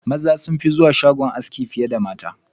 Maza sunfi zuwa shagon aski fiye da mata.